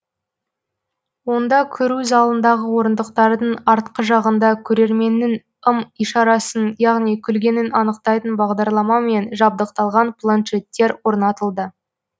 онда көру залындағы орындықтардың артқы жағында көрерменнің ым ишарасын яғни күлгенін анықтайтын бағдарламамен жабдықталған планшеттер орнатылды